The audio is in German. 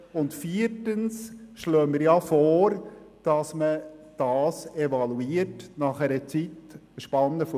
Und viertens schlagen wir vor, dass man das nach vier Jahren evaluiert.